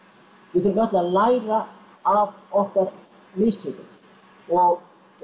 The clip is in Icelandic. við þurfum öll að læra af okkar mistökum og